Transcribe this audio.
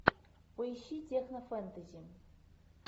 поищи технофэнтези